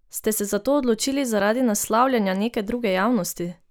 Ste se za to odločili zaradi naslavljanja neke druge javnosti?